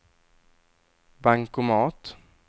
bankomat